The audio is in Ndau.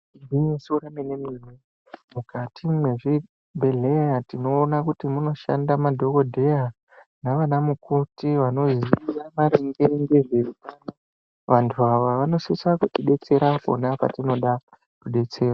Igwinyiso remene ,mukati mezvibhedleya tinowona kuti munoshanda madhogodheya nevana mukoti vanoringira maringe ngezvehutano. Vantu ava vanosise kuti detsera apo neapo patinoda kubetserwa.